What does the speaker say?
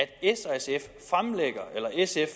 sf